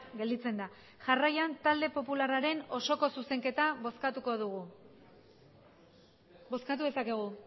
gelditzen da jarraian talde popularraren osoko zuzenketa bozkatuko dugu bozkatu dezakegu